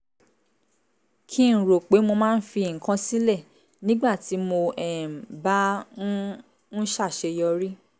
kí n rò pé mo máa ń fi nǹkan sílẹ̀ nígbà tí mo um bá um ń ṣàṣeyọrí